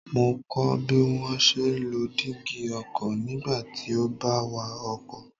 Mo kọ́ ọ bí wón ṣe ń lo dígí ọkọ̀ nígbà tí ó bá ń wa ọkọ̀.